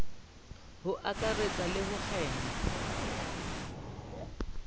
ho akaretsa le ho kgema